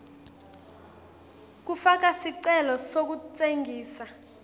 kufaka sicelo sekutsengisa